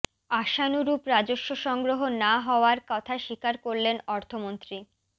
আশানুরূপ রাজস্ব সংগ্রহ না হওয়ার কথা স্বীকার করলেন অর্থমন্ত্রী